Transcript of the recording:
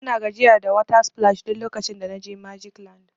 Bana gajiya da water splash duk lokacin da na je magic land.